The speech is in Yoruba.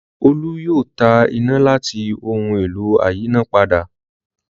Olú yóò ta iná láti ohun-èlò ayínápadà.